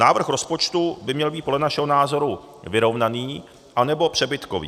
Návrh rozpočtu by měl být podle našeho názoru vyrovnaný anebo přebytkový.